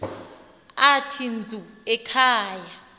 athi dzu ekhaya